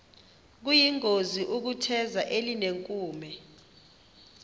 kuyingozi ukutheza elinenkume